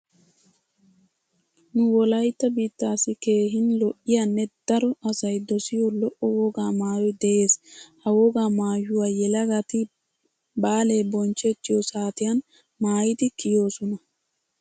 Nu wolaytta biittassi keehin lo'iyannee daro asay dosiyo lo'o wogaa maayoy de'ees. Ha wogaa maayuwa yelagati baale bonchchettiyo saatiyan maayidi kiyoosona.